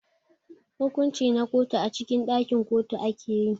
hukunci na kotu a cikin dakin kotu akeyi.